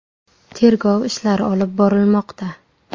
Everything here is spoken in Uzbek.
Tergov ishlari olib borilmoqda.